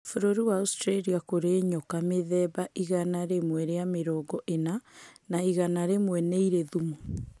Būrūri-iní wa Austraria kũrĩ nyoka mithemba igana rīmwe rĩa mĩrongo ĩna na igana rīmwe nĩirĩ thumu.